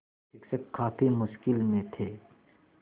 शिक्षक काफ़ी मुश्किल में थे